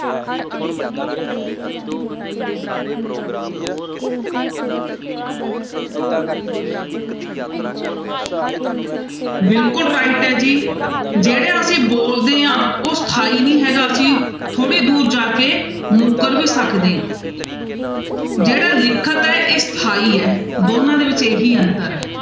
ਬਿਲਕੁਲ right ਹੈ ਜੀ ਜਿਹੜਾ ਅਸੀਂ ਬੋਲਦੇ ਹਾਂ ਉਹ ਸਥਾਈ ਨੀ ਹੈਗਾ ਅਸੀਂ ਥੋੜ੍ਹੀ ਦੂਰ ਜਾ ਕੇ ਮੁੱਕਰ ਵੀ ਸਕਦੇ ਹਾਂ ਜਿਹੜਾ ਲਿਖਤ ਹੈ ਇਹ ਸਥਾਈ ਹੈ ਦੋਨਾਂ ਦੇ ਵਿੱਚ ਇਹੀ ਅੰਤਰ ਹੈ।